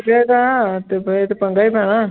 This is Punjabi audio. ਲੱਗੇਗਾ ਤੇ ਫਿਰ ਤੇ ਪੰਗਾ ਹੀ ਪੈਣਾ।